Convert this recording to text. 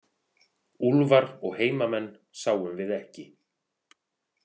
Úlfar og heimamenn sáum við ekki.